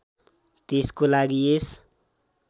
त्यसको लागि यस